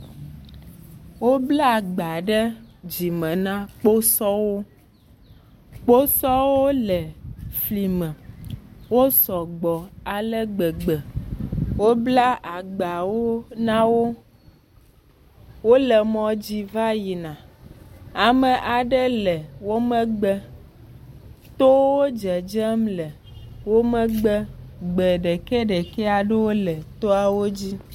Wobla agba ɖe dzime na kposɔwo. Kposɔwo le fli me. Wo sugbɔ ale gbegbe. Wobla agbawo na wo. Wole mɔ dzi va yina. Ame aɖe le wo megbe. Towo dzedzem le wo megbe. Gbe ɖekɛɖekɛ aɖewo le to la dzi.